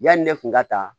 Yanni ne kun ka taa